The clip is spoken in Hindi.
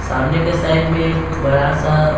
सामने के साइड में एक बड़ा सा--